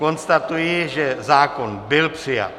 Konstatuji, že zákon byl přijat.